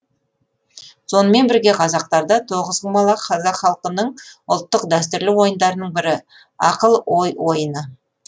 сонымен бірге қазақтарда тоғызқұмалақ қазақ халқының ұлттық дәстүрлі ойындарының бірі ақыл ой ойыны